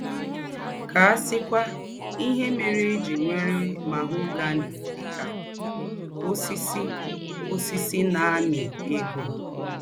Kà à síkwá íhe mère è jí èwèrè mahogany dị̀ ka ósìsì ósìsì ná-àmí égó.